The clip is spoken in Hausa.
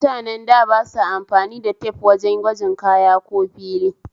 Mutanen da ba sa amfani the tep wajen gwajin kaya ko fili